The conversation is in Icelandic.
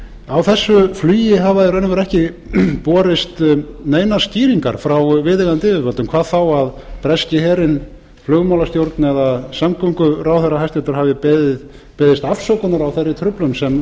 á þessu flugi hafa í raun og veru ekki borist neinar skýringar frá viðeigandi yfirvöldum hvað þá að breski herinn flugmálastjórn eða hæstvirtur samgönguráðherra hafi beðist afsökunar á þeirri truflun sem